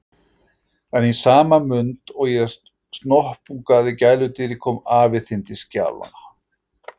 En í sama mund og ég snoppungaði gæludýrið kom afi þinn til skjalanna.